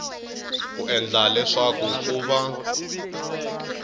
ku endla leswaku ku va